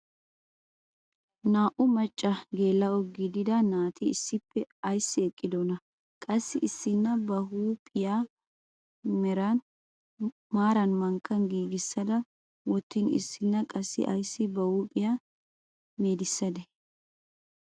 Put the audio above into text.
Naa"u maccanne geela'o gidida naati issippe ayssi eqqidonaa? Qassi issina ba huuphphiyaa maaran mankkan giigissa wottin issina qassi ayssi ba huuphphiyaa meedisadee?